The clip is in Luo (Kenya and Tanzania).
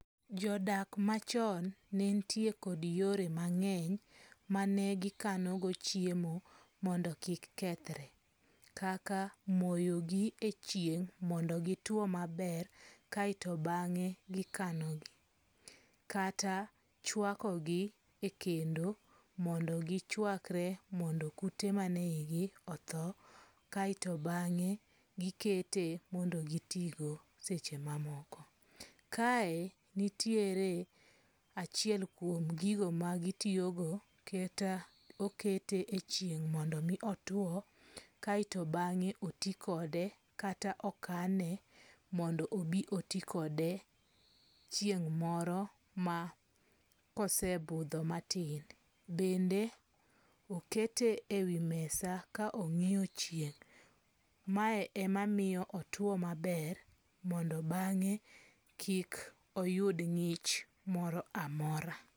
Jodak machon nentie kod yore mangeny manegikanogo chiemo mondo kik kethre kaka moyogi e chieng' mondo gitwo maber kaeto bange' to gikanogi, kata chwakogi e kendo mondo gi chwakre mondo kute manie hiye otho kaeto bange' gikete mondo gitigo seche ma moko, kae nitiere achiel kuom gigo magitiyogo kata okete e chieng mondo miyo two kae to bange' oti kode kata okane mondo obi otikode chieng moro ma kosebutho matin, bende okete e wi mesa ka onge'yo chieng' , mae emamiyo otwo maber mondo bange' kik oyud ngi'ch moro amora